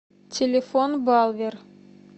телефон балвер